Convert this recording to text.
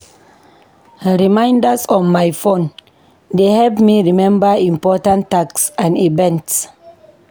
Reminders on my phone dey help me remember important tasks and events.